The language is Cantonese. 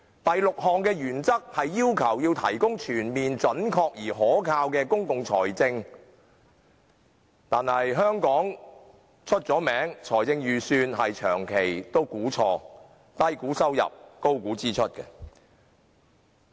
第六項原則要求提供全面準確而可靠的公共財政資料，但眾所周知，香港的財政預算長期出現估計錯誤，低估收入，高估支出。